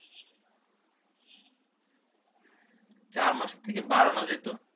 চার মাসের থেকে বাড়ানো যেত